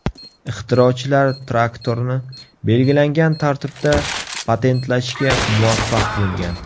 Ixtirochilar traktorni belgilangan tartibda patentlashga muvaffaq bo‘lgan.